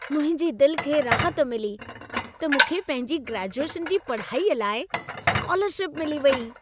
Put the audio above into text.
मुंहिंजी दिलि खे राहत मिली त मूंखे पंहिंजी ग्रेजूएशन जी पढ़ाईअ लाइ स्कालर्शिप मिली वेई।